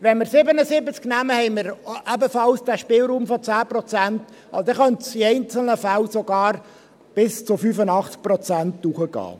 Wenn wir 77 nehmen, haben wir ebenfalls diesen Spielraum von 10 Prozent, und dann könnte es in einzelnen Fällen sogar bis zu 85 Prozent hochgehen.